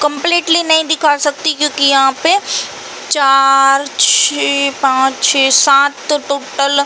Completely नहीं दिखा सकती। क्योंकि यहाँ पे (पर) चार छः पाँच छः सात टोटल --